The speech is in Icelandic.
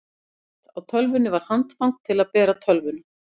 efst á tölvunni var handfang til að bera tölvuna